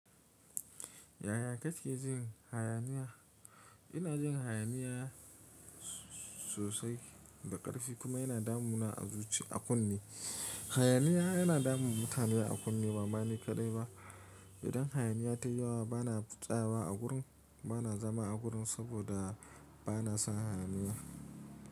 Yaya kake jin hayaniya? Ina jin hayaniya sosai da ƙarfi kuma yana damu na a zuci a kunne. Hayaniya yana damun mutane a kunne ba mani kaɗai ba. Idan hayaniya ta yi yawa bana tsawa a gurin, bana zama a gurin saboda bana son hayaniya.